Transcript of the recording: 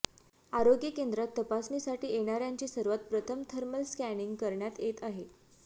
आरोग्य केंद्रात तपासणीसाठी येणाऱ्यांची सर्वात प्रथम थर्मल स्कॅनिंग करण्यात येत आहे